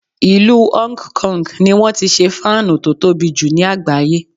Ìlú Hong Kong ni wọ́n ti ṣe fáánù tó tobì jù ní àgbáyé.